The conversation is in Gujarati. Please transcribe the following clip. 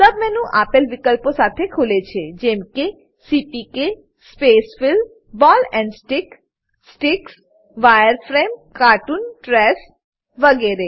સબ મેનુ આપેલ વિકલ્પો સાથે ખુલે છે જેમકે CPK spacefill ball and stick sticks wireframe cartoon trace વગેરે